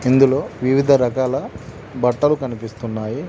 ఇందులో వివిధ రకాల బట్టలు కనిపిస్తున్నాయి.